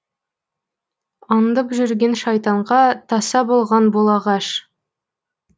андып жүрген шайтанға таса болған бұл ағаш